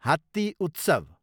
हात्ती उत्सव